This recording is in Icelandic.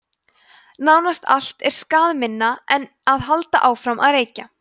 nánast allt er skaðminna en að halda áfram að reykja